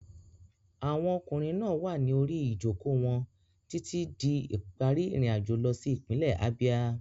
Àwọn ọkùnrin náà wà ní orí ìjókòó wọn títí di ìparí ìrìnàjò lọ sí ìpínlẹ̀ Abia.